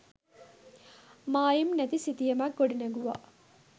මායිම් නැති සිතියමක් ගොඩනැගුවා.